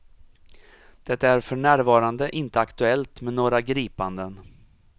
Det är för närvarande inte aktuellt med några gripanden.